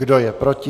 Kdo je proti?